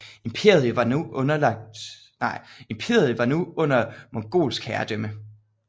Imperiet var nu under mongolsk herredømme